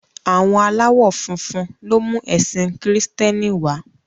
Àwọn aláwọ̀ funfun ló mú ẹ̀sìn kìrììtẹ́nì wá